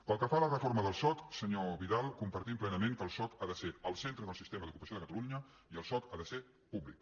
pel que fa a la reforma del soc senyor vidal compar·tim plenament que el soc ha de ser el centre del siste·ma d’ocupació de catalunya i el soc ha de ser públic